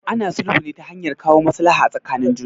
Ana sulhu ne ta hanyar kawo maslaha tsakanin juna.